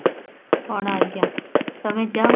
କଣ ଆଜ୍ଞା ତମେ ଯାଅ